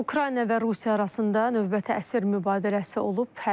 Ukrayna və Rusiya arasında növbəti əsir mübadiləsi olub.